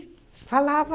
falava.